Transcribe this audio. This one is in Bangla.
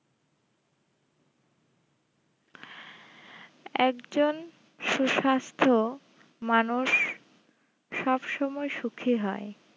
একজন সুস্বাস্থ্য মানুষ সবসময় সুখী হয়